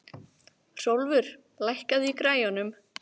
Hrólfur, lækkaðu í græjunum.